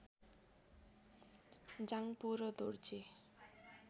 जाङपो र दोर्जे